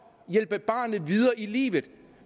hjælpe barnet videre i livet